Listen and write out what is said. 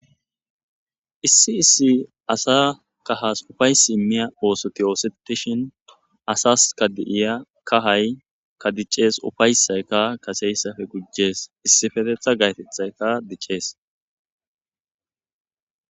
Issi issi asa kahas ufaysi immiya oosoti oosetishin asas ka di'iya kahay ka diccees ufaysayka kaseyssafe gujjees issifetetha gaytethayka diccees.